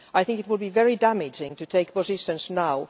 It would be very damaging to take positions now.